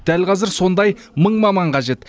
дәл қазір сондай мың маман қажет